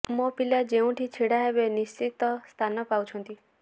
ମୋ ପିଲା ଯେଉଁଠି ଛିଡ଼ା ହେବେ ନିଶ୍ଚିତ ସ୍ଥାନ ପାଉଛନ୍ତି